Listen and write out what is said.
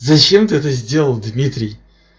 зачем ты это сделал дмитрий